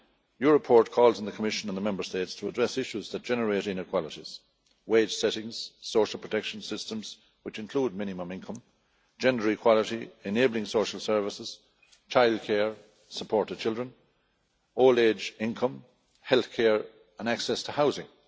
Your report calls on the Commission and the Member States to address issues that generate inequalities wage settings, social protection systems which includes minimum income, gender equality, enabling social services, childcare, support to children, old age income, health care and access to housing.